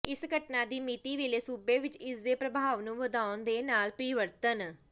ਇਸ ਘਟਨਾ ਦੀ ਮਿਤੀ ਵੇਲੇ ਸੂਬੇ ਵਿਚ ਇਸ ਦੇ ਪ੍ਰਭਾਵ ਨੂੰ ਵਧਾਉਣ ਦੇ ਨਾਲ ਪ੍ਰੀਵਰਤਣ